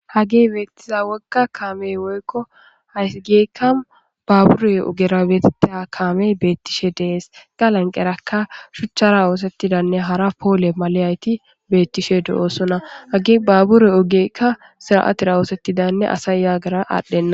hage beettiza woga kaamey woykko haysi geykka baaburey ogera betta kaamey beettishe dees gaalanqeraka shuchchara oosettidanne hara poole maleyayti beettishe do7oosona hage baaburey ogekka sira7atira oosettidanne asay yaagara aadhdhenna.